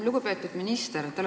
Lugupeetud minister!